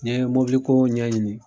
N Ye ɲɛɲini.